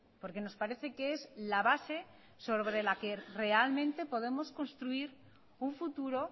porque nos parece que es la base sobre la que realmente podemos construir un futuro